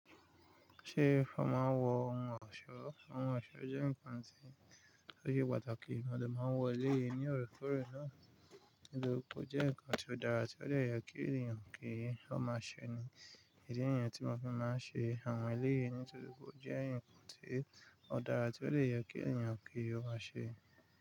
Ṣé ọ̀ máa n wọ ohun ọ̀ṣọ́? Ohun ọ̀ṣọ́ jẹ́ nǹkan tí ó ṣe pàtàkì, mo dè máa wọ eléyìí ní òrekorẹ̀ náà. Nítorí pé ó jẹ́ nǹkan tí ó dára tí ó lè yọ kí èèyàn kí ó máa ṣe ni. Ìdí nìyẹn tí wọ́n fi máa ń ṣe àwọn ẹlẹ́yii nítorí pé ó jẹ́ ǹkan tí ó dára tí ó lè yọ kí èèyàn kí ó máa ṣe.